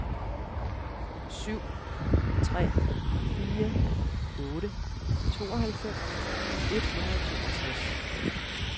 syv tre fire otte tooghalvfems et hundrede og toogtres